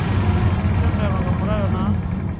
u tendelwa nga mulayo na